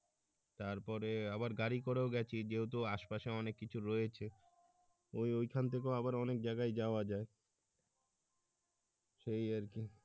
তারপরে আবার গাড়ি করেও গেছি যেহেতু আশপাশে অনেক কিছু রয়েছে ওই ওই খান থেকেও আবার অনেক জায়গায় যাওয়া যায় সেই আরকি